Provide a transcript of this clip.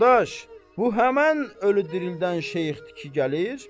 Dadaş, bu həmən ölü dirildən şeyxdir ki, gəlir?